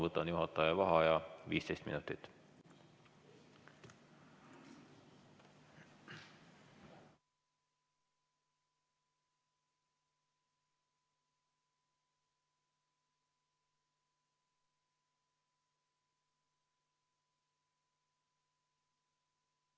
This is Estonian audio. Võtan juhataja vaheaja 15 minutit.